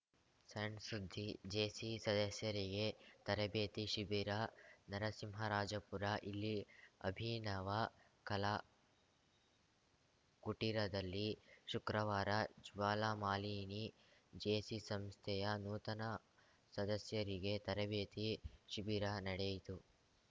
ಸಣ್‌ ಸುದ್ದಿ ಜೇಸಿ ಸದಸ್ಯರಿಗೆ ತರಬೇತಿ ಶಿಬಿರ ನರಸಿಂಹರಾಜಪುರ ಇಲ್ಲಿ ಅಭಿನವ ಕಲಾ ಕುಟೀರದಲ್ಲಿ ಶುಕ್ರವಾರ ಜ್ವಾಲಾಮಾಲಿನಿ ಜೇಸಿ ಸಂಸ್ಥೆಯ ನೂತನ ಸದಸ್ಯರಿಗೆ ತರಬೇತಿ ಶಿಬಿರ ನಡೆಯಿತು